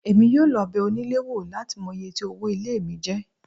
Èmi yóò lọ bẹ onílé wò láti mọ iye tí owó ilé mi jẹ́